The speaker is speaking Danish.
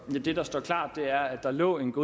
var lovligt